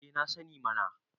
eh na sani mana